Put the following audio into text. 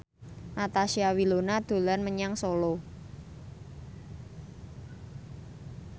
Natasha Wilona dolan menyang Solo